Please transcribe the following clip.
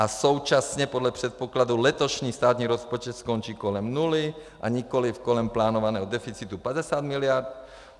A současně podle předpokladu letošní státní rozpočet skončí kolem nuly a nikoliv kolem plánovaného deficitu 50 miliard.